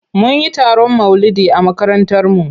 Mun yi taron maulidi a makarantarmu.